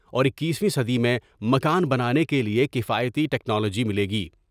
اور اکیسوی صدی میں مکان بنانے کے لئے کفایتی ٹیکنالوجی ملے گی ۔